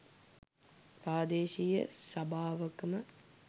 ප්‍රාදේශීය සභාවකම